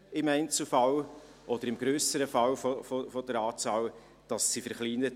Bei der grösseren Anzahl Fälle werden sie verkleinert.